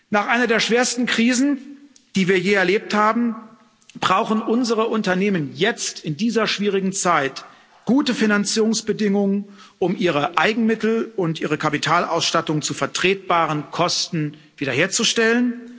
Nach einer der schwersten Krisen, die wir je erlebt haben, brauchen unsere Unternehmen jetzt, in dieser schwierigen Zeit, gute Finanzierungsbedingungen, um ihre Eigenmittel und ihre Kapitalausstattung zu vertretbaren Kosten wiederherzustellen.